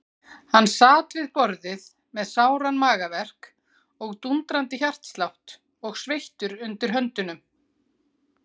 Hann sat við borðið með sáran magaverk og dúndrandi hjartslátt og sveittur undir höndum.